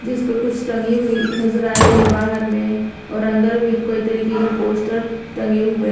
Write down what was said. जिस पर कुछ टंगी हुई नजर आ रही है बाहर में और अंदर भी कोई तरीके के पोस्टर टंगे हुए हैं।